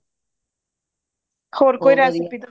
overlap